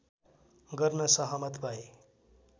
गर्न सहमत भए